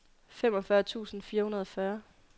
femogfyrre tusind fire hundrede og fyrre